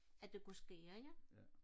at det kunne ske ikke